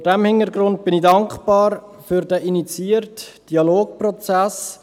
Vor diesem Hintergrund bin ich dankbar für den initiierten Dialogprozess.